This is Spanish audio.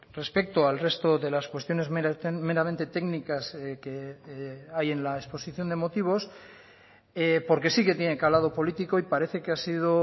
respecto al resto de las cuestiones meramente técnicas que hay en la exposición de motivos porque sí que tiene calado político y parece que ha sido